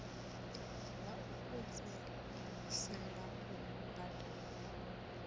ḽa u fhedzisela u badela